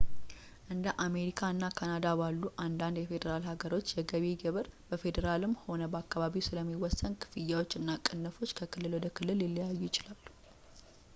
እንደ አሜሪካ እና ካናዳ ባሉ አንዳንድ የፌዴራል ሀገሮች የገቢ ግብር በፌዴራልም ሆነ በአከባቢው ስለሚወሰን ክፍያዎች እና ቅንፎች ከክልል ወደ ክልል ሊለያዩ ይችላሉ